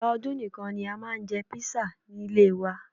Ìgbà ọdún nìkan ni a máa ń jẹ kpisa nílé ẹ wa